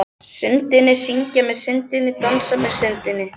Syndinni, syngja með Syndinni og dansa með Syndinni.